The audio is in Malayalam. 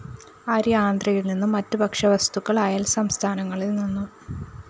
അരി ആന്ധ്രയില്‍നിന്നും മറ്റ് ഭക്ഷ്യവസ്തുക്കള്‍ അയല്‍സംസ്ഥാനങ്ങളില്‍നിന്നും